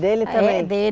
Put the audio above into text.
Dele também? É, dele